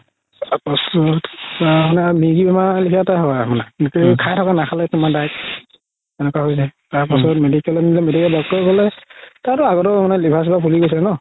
তাৰ পিছত মিৰ্গি বেমাৰ লেখিয়া এটা হয় মানে নাখালে তুমাৰ দাই তাৰ পাছত এনেকুৱা হয় যাই তাৰ পাছত medical নিলে doctor ৰে ক'লে তাৰতো আগও liver চিভাৰ ফুলি গৈছে ন